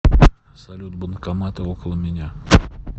салют банкоматы около меня